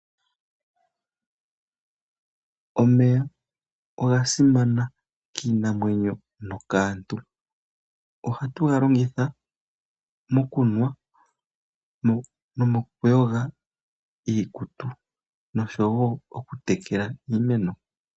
Omeya oga simana kiinamwenyo nokaantu , ohatu galongitha mokunwa nomokuyoga iikutu oshowo oku tekela iimeno .